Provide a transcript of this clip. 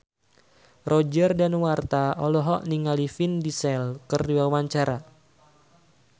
Roger Danuarta olohok ningali Vin Diesel keur diwawancara